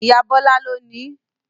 Ìyá Bọ́lá ló nií